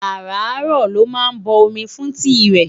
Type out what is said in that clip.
ará ró ló má bo omi fún tii re